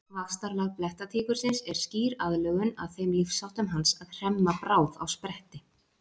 Vaxtarlag blettatígursins er skýr aðlögun að þeim lífsháttum hans að hremma bráð á spretti.